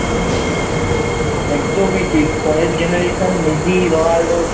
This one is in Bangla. একদমই ঠিক পরের Generation এ Messi Ronaldo